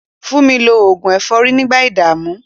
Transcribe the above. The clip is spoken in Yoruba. Fúnmi lo oògùn ẹ̀fọ́rí nígbà ìdààmú.